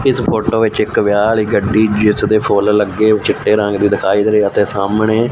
ਇਸ ਫੋਟੋ ਵਿੱਚ ਇੱਕ ਵਿਆਹ ਵਾਲੀ ਗੱਡੀ ਜਿਸ ਦੇ ਫੁੱਲ ਲੱਗੇ ਚਿੱਟੇ ਰੰਗ ਦੀ ਦਿਖਾਈ ਦੇ ਰਹੇ ਤੇ ਸਾਹਮਣੇ--